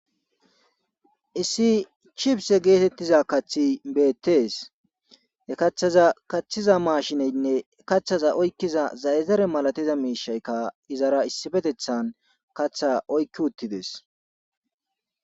issi chipse geetettiza kathi beettees he kaththaza kaththiza maashineynne kaththaza oykkiza zayazare malatiza miishaykka izara issifetethan katha oykki uttides